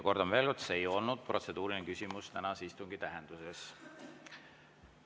" Kordan veel, et see ei olnud protseduuriline küsimus tänase istungi tähenduses.